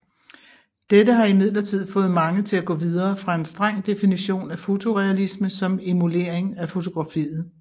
Dette har imidlertid fået mange til at gå videre fra en streng definition af fotorealisme som emulering af fotografiet